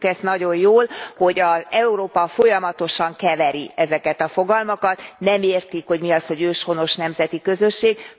Tudjuk ezt nagyon jól, hogy Európa folyamatosan keveri ezeket a fogalmakat, nem értik, hogy mi az, hogy őshonos nemzeti közösség.